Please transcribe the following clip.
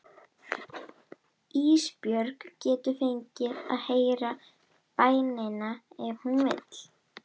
Ísbjörg getur fengið að heyra bænina ef hún vill.